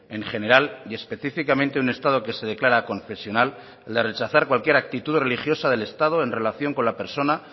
en general y específicamente un estado que se declara aconfesional el de rechazar cualquier actitud religiosa del estado en relación con la persona